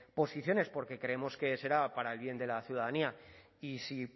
posiciones porque creemos que será para el bien de la ciudadanía y si